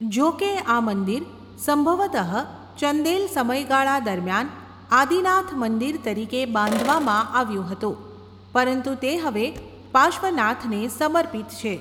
જો કે આ મંદિર સંભવતઃ ચંદેલ સમયગાળા દરમિયાન આદિનાથ મંદિર તરીકે બાંધવામાં આવ્યું હતું, પરંતુ તે હવે પાર્શ્વનાથને સમર્પિત છે.